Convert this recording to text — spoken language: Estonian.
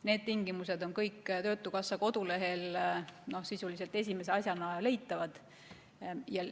Need tingimused on kõik töötukassa kodulehel sisuliselt esimese asjana leitavad.